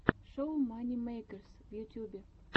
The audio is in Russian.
шоу мани мэйкерс в ютьюбе